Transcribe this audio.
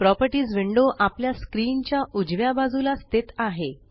properties window आपल्या screen च्या उजव्या बाजूला स्थित आहे